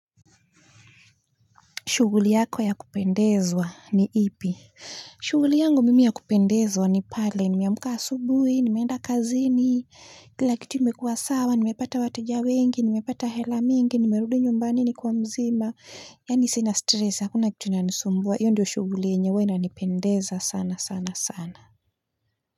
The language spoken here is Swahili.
Shughuli yako ya kupendezwa ni ipi? Shughuli yangu mimi ya kupendezwa ni pale nimeamka asubuhi nimeenda kazini kila kitu imekua sawa nimepata wateja wengi nimepata hela mingi nimerudi nyumbani nikiwa mzima yaani sina stress hakuna kitu inanisumbua hiyo ndio shughuli huwa inanipendeza sana sana.